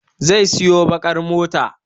Zai siyo baƙar mota.